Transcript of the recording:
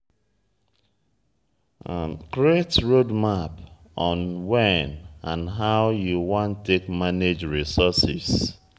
create roadmap on when and how you wan take manage resources